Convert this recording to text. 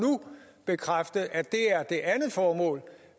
bekræfte at det andet formål